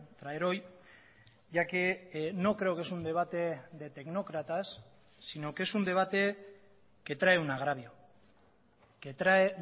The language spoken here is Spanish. traer hoy ya que no creo que es un debate de tecnócratas sino que es un debate que trae un agravio que trae